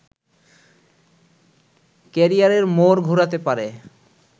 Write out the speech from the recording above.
ক্যারিযারের মোড় ঘোরাতে পারে